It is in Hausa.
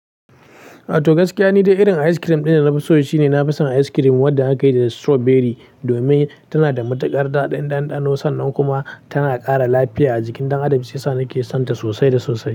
Ato gaskiya, ni dai irin ice cream ɗin da nafi so shine nafi son ice cream wanda aka yi da strawberry domin tana da matuƙar daɗin ɗanɗano sannan kuma tana ƙara lafiya a jikin ɗan Adam shiyasa nake son ta sosai da sosai.